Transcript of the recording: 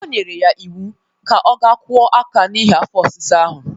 O nyere ya iwu ka ọ ga kwọ aka ya n'ihi afọ ọsịsa ahụ.